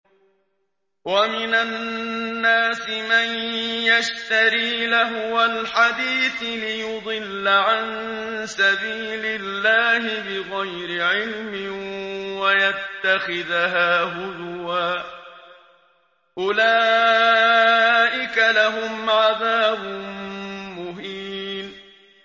وَمِنَ النَّاسِ مَن يَشْتَرِي لَهْوَ الْحَدِيثِ لِيُضِلَّ عَن سَبِيلِ اللَّهِ بِغَيْرِ عِلْمٍ وَيَتَّخِذَهَا هُزُوًا ۚ أُولَٰئِكَ لَهُمْ عَذَابٌ مُّهِينٌ